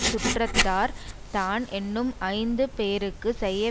சுற்றத்தார் தான் என்னும் ஐந்து பேருக்கு செய்ய